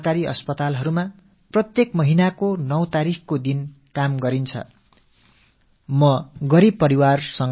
பைஸா செலவின்றி ஒவ்வொரு மாதம் 9ஆம் தேதியன்றும் அனைத்து அரசு மருத்துவமனைகளில் இது மேற்கொள்ளப்படும்